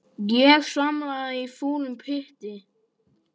Ég svamla í fúlum pytti.